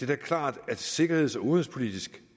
da klart at sikkerheds og udenrigspolitisk